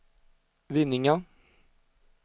Vinninga